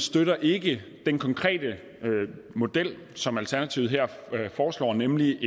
støtter ikke den konkrete model som alternativet her foreslår nemlig